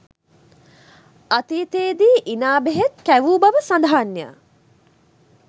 අතීතයේ දී ඉනා බෙහෙත් කැවූ බව සඳහන්ය